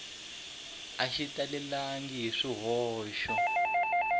a xi talelangi hi swihoxo